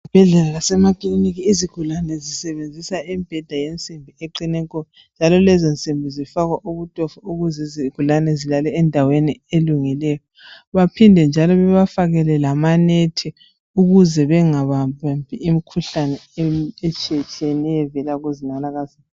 Izibhedlela lasemakiliniki izigulane zisebenzisa imibheda yensimbi eqine nko. Njalo lezo nsimbi zifakwa ubutofo ukuze izigulane zilale endaweni elungileyo. Baphinde njalo bebafakele lamanethi ukuze bengababambi imikhuhlane etshiyetshiyeneyo evela kuzinanakazana.